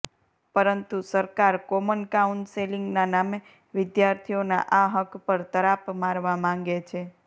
પરંતુ સરકાર કોમન કાઉન્સેલિંગના નામે વિદ્યાર્થીઓના આ હક્ક પર તરાપ મારવા માંગે છે